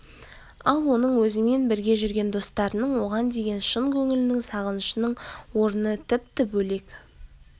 ал оның өзімен бірге жүрген достарының оған деген шын көңілінің сағынышының орны тіпті бөлек